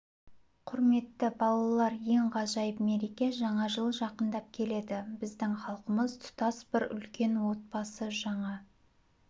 құрметті балалар ең ғажайып мереке жаңа жыл жақындап келеді біздің халқымыз тұтас бір үлкен отбасы жаңа